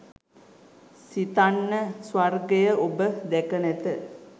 සිතන්න ස්වර්ගය ඔබ දැක නැත.